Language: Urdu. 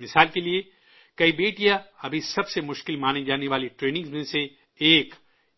مثال کے طور پر، کئی بیٹیاں ابھی سب سے مشکل مانی جانے والی ٹریننگ میں سے ایک